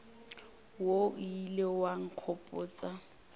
wo o ilego wa nkgopotša